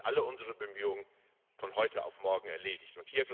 Dann sind alle unsere Bemühungen von heute auf morgen erledigt.